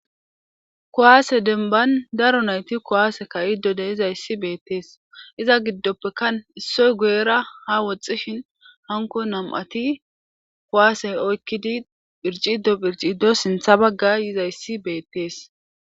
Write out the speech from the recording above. kuwaase denban daro nayti kowaase ka iddo de izayssi beettees iza giddoppekka issoy guyera ha woxxishin hanko nam7ati kowaasey oykkidi phircido phircido sintha bagga yizayssi beettees